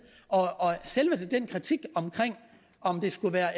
og selve den kritik om om det skulle være